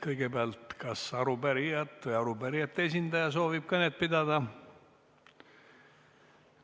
Kõigepealt, kas arupärijad või arupärijate esindaja soovib kõnet pidada?